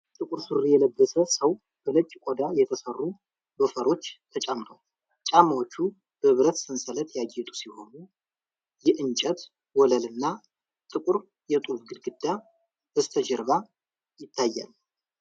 ጥቁር ሱሪ የለበሰ ሰው በነጭ ቆዳ የተሠሩ ሎፈሮች ተጫምቷል። ጫማዎቹ በብረት ሰንሰለት ያጌጡ ሲሆኑ፣ የእንጨት ወለልና ጥቁር የጡብ ግድግዳ በስተጀርባ ይታያል።